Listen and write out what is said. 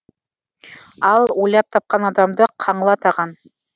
ал ойлап тапқан адамды қаңлы атаған